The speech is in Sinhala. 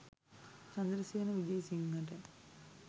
චන්ද්‍රසේන විජේසිංහට